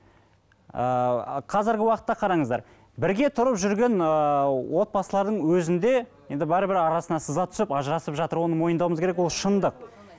ыыы қазіргі уақытта қараңыздар бірге тұрып жүрген ыыы отбасылардың өзінде енді бәрібір арасына сызат түсіп ажырасып жатыр оны мойындауымыз керек ол шындық